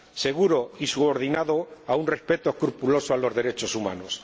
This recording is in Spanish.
seguro y subordinado a un respeto escrupuloso de los derechos humanos.